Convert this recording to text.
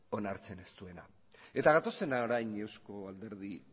onartzen ez duena eta gatozen orain euzko alderdi